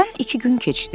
Aradan iki gün keçdi.